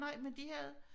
Nej men de havde